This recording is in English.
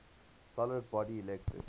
solid body electric